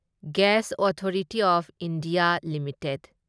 gas authority of India limited